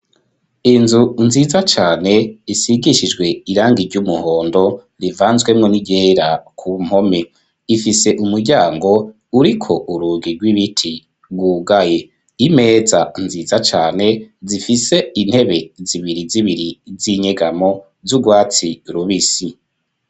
Inzu nziza cane, isigishijwe irangi, iry'umuhondo, rivanzwemwo n'iryera, ku mpome; ifise umuryango, uriko urugi, rw'ibiti, rwugaye; imeza nziza cane, zifise intebe, zibiri zibiri, z'inyegamo, z'urwatsi rubisi.